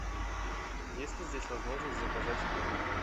есть ли здесь возможность заказать еду в номер